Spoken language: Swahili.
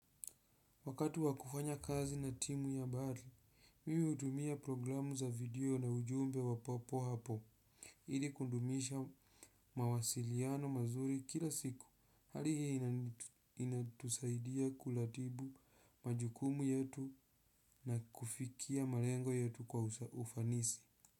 Wakatu wakufanya kazi na timu ya habari, mimi utumia programu za video na ujumbe wa papo hapo. Ili kudumisha mawasiliano mazuri kila siku. Hali hii inatusaidia kulatibu majukumu yetu na kufikia malengo yetu kwa ufanisi.